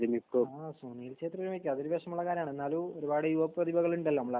ആഹ് സുനിൽ ശത്രി വിരമിക്കും. അതൊരു വിഷമള്ള കാര്യാണ്. എന്നാലും ഒരുപാട് യുവപ്രതിഭകളുണ്ടല്ലോ നമ്മളേ